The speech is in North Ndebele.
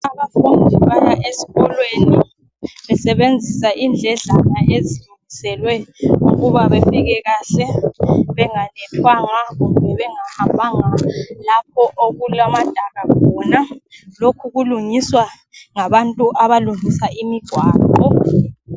Abafundi baya esikolweni besebenzisa endledlana ezilungiselwe ukuba bafike kahle benganethwanga, kumbe bengahambanga lapho okulamadaka khona. Lokhu kulungiswa ngabantu abalungisa imigwaqo.